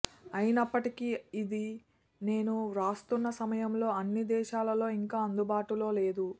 అయినప్పటికీ ఇది నేను వ్రాస్తున్న సమయంలో అన్ని దేశాలలో ఇంకా అందుబాటులో లేదు